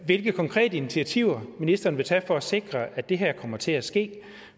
hvilke konkrete initiativer ministeren vil tage for at sikre at det her kommer til at ske